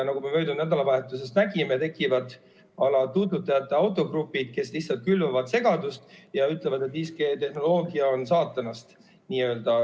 Nagu me möödunud nädalavahetusest nägime, tekivad tuututajate autogrupid, kes lihtsalt külvavad segadust ja ütlevad, et 5G-tehnoloogia on "saatanast".